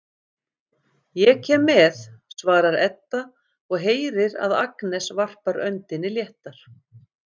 Ég kem með, svarar Edda og heyrir að Agnes varpar öndinni léttar.